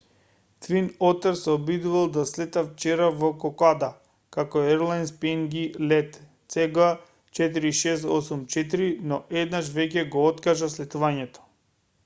твин отер се обидувал да слета вчера во кокода како ерлајнс пнг лет цг4684 но еднаш веќе го откажа слетувањето